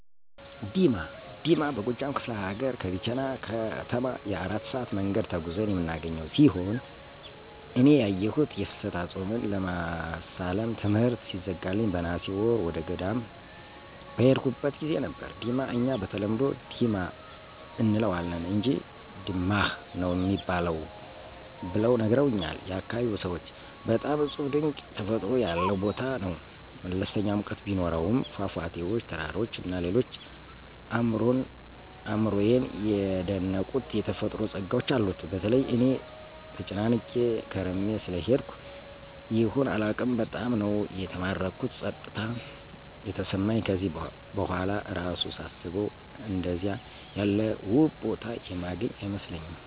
ዲማ፦ ዲማ በጎጃም ከፍለ ሀገር ከቢቸና ከተማ የ4 ሰአት መንገድ ተጉዘን የምናገኘው ሲሆን እኔ ያየሁት የፍልሰታ ጾምን ለማሳለፍ ትምሕርት ሲዘጋልኝ በነሐሴ ወር ወደገዳም በሄድኩበት ጊዜ ነበር፤ ዲማ እኛ በተለምዶ "ዲማ “ አንለዋለን አንጅ “ድማኅ“ ነው ሚባል ብለው ነግረውኛል ያካባቢው ሰዎች። በጣም እጹብ ድንቅ ተፈጥሮ ያለው ቦታ ነው። መለስተኛ ሙቀት ቢኖሰውም ፏፏቴዎች፣ ተራራዎች እና ሌሎች አእምሮየን የደነቁት የተፈጥሮ ጸጋዎች አሉት። በተለይ እኔ ተጨናንቄ ከርሜ ስለሄድኩ ይሁን አላውቅም በጣም ነው የተማረኩት ጸጥታ የተሰማኝ ከዚህ በኋላ እራሱ ሳስበው አንደዚያ ያለ ውብ ቦታ የማገኝ አይመስለኝም።